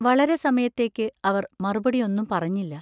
വളരെ സമയത്തേക്ക് അവർ മറുപടി ഒന്നും പറഞ്ഞില്ല.